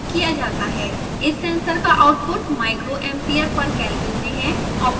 इस सेंसर का output micro ampere per kelvin में है